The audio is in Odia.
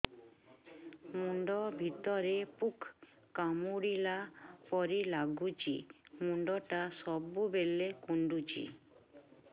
ମୁଣ୍ଡ ଭିତରେ ପୁକ କାମୁଡ଼ିଲା ପରି ଲାଗୁଛି ମୁଣ୍ଡ ଟା ସବୁବେଳେ କୁଣ୍ଡୁଚି